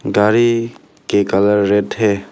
गाड़ी के colour red है।